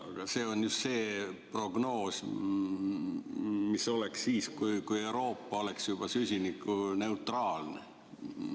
Aga see on just see prognoos, mis oleks siis, kui Euroopa oleks süsinikuneutraalne.